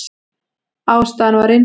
Ástæðan var einföld.